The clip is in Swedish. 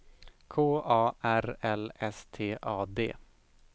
K A R L S T A D